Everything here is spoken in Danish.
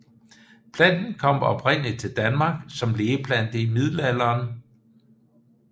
Planten kom oprindelig til Danmark som lægeplante i middelalderen